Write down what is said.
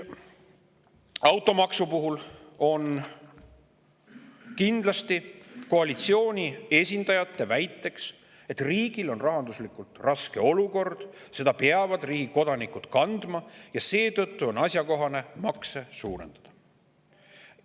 Automaksu puhul on kindlasti koalitsiooni esindajate väide, et riigil on rahanduslikult raske olukord, seda peavad riigi kodanikud kandma ja seetõttu on asjakohane makse suurendada.